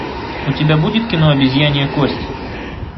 у тебя будет кино обезьянья кость